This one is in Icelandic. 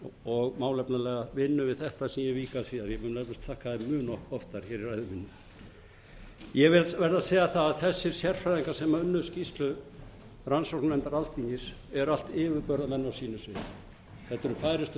og málefnalega vinnu sem ég vík að síðar ég mun eflaust þakka mun oftar í ræðu minni ég verð að segja það að þessir sérfræðingar sem unnu skýrslu rannsóknarnefndar alþingis eru allt yfirburðamenn á sínu sviði þetta eru færustu